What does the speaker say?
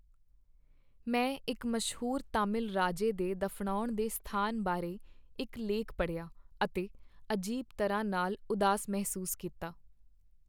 ਮੈਂ ਇੱਕ ਮਸ਼ਹੂਰ ਤਾਮਿਲ ਰਾਜੇ ਦੇ ਦਫ਼ਨਾਉਣ ਦੇ ਸਥਾਨ ਬਾਰੇ ਇੱਕ ਲੇਖ ਪੜ੍ਹਿਆ ਅਤੇ ਅਜੀਬ ਤਰ੍ਹਾਂ ਨਾਲ ਉਦਾਸ ਮਹਿਸੂਸ ਕੀਤਾ।